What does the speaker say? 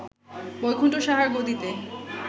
বৈকুণ্ঠ সাহার গদিতে